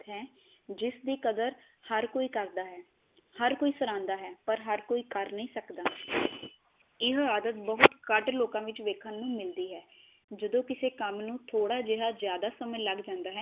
ਜਿਸ ਦੀ ਕਦਰ ਹਰ ਕੋਈ ਕਰਦਾ ਹੈ ਹਰ ਕੋਈ ਸਰਹਾਉਂਦਾ ਹੈ ਪਰ ਹਰ ਕੋਈ ਕਰ ਨਹੀ ਸਕਦਾ, ਇਹ ਆਦਤ ਬਹੁਤ ਘਟ ਲੋਕਾ ਵਿਚ ਵੇਖਣ ਨੂੰ ਮਿਲਦੀ ਹੈ ਜਦੋ ਕਿਸੇ ਕੰਮ ਨੂੰ ਥੋੜਾ ਜਿਹਾ ਜਿਆਦਾ ਸਮੇ ਲੱਗ ਜਾਂਦਾ ਹੈ